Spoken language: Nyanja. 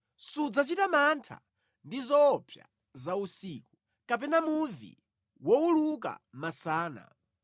Sudzachita mantha ndi zoopsa za usiku, kapena muvi wowuluka masana,